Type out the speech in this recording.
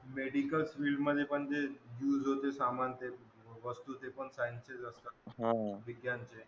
medical field मध्ये यूजहोतात ते सामान ते वस्तू ते पण science चे असतात